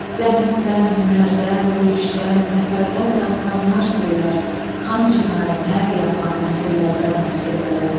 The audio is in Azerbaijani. Zəhmətdən, hünərdən, döyüşdən, zəfərdən dastanlar söylər Xan Çinarın hər yarpağı nəsillərdən nəsillərə.